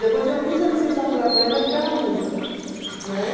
Depois eu fiz a licenciatura plena, que era música, né?